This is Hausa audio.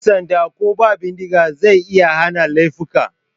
Yan sanda ko ba bindiga zai iya hana laifuka.